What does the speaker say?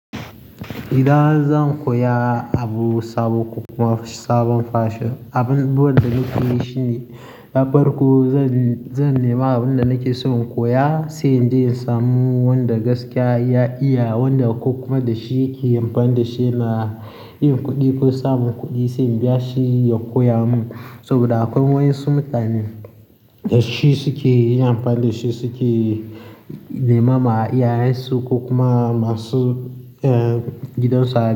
Idan zan koya abu sabo ko kuma sabon fashi, abubuwan da nake yi shine na farko zan, zan nema abin da nake so in koya sai in je in samu wanda gaskiya ya iya, wanda ko kuma da shi ya ke yin amfani da shi na yin kuɗi ko samun kuɗi sai in biya shi ya koya min. Saboda akwai wayan su mutane da shi suke yin amfani da shi suke nema ma iyayensu ko kuma masu, eh, gidan su hali.